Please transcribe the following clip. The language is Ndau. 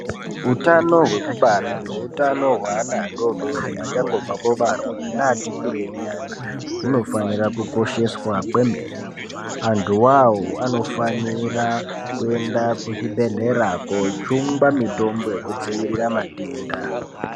Utano hwekubara neutana hweana adodori achangobva kubarwa neati kurei nyana hunofanira kukosheswa kwemene antuwo awo anofanira kuyenda kuzvibhedhlera kojungwa mitombo yekudzivirira matenda.